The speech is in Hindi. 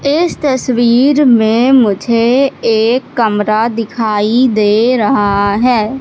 इस तस्वीर में मुझे एक कमरा दिखाई दे रहा है।